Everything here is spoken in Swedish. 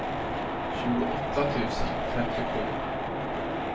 tjugoåtta tusen femtiosju